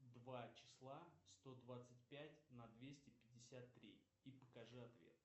два числа сто двадцать пять на двести пятьдесят три и покажи ответ